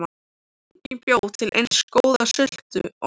Enginn bjó til eins góða sultu og amma.